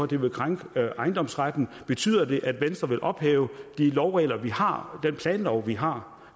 det vil krænke ejendomsretten betyder det at venstre vil ophæve de lovregler vi har den planlov vi har